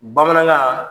Bamanankan